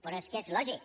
però és que és lògic